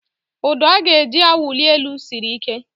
Ụdọ a eji awụli elu siri ike